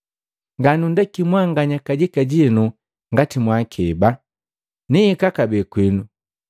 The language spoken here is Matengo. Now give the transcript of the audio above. “Nganundeki mwanganya kajika jinu ngati mwakeba, nihika kabee kwinu.